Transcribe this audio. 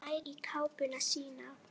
Nær í kápuna sína.